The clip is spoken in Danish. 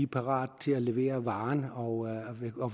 parate til at levere varen og